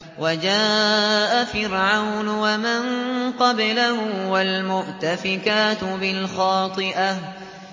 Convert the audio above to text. وَجَاءَ فِرْعَوْنُ وَمَن قَبْلَهُ وَالْمُؤْتَفِكَاتُ بِالْخَاطِئَةِ